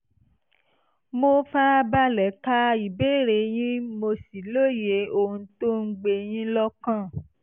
mo fara balẹ̀ ka ìbéèrè yín mo sì lóye ohun tó ń gbé yín lọ́kàn